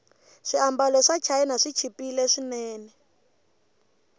swiambalo swachina swichipile swinene